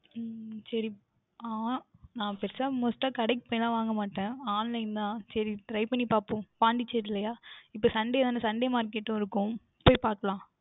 உம் சரி நான் பெரியதாக Must டா கடைக்கு போய்லாம் வாங்க மாட்டேன் Online தான் சரி Try பண்ணி பார்ப்போம் Pondicherry ல அஹ் இப்பொழுது Sunday தான Sunday market இருக்கும் போய் பார்க்கலாம்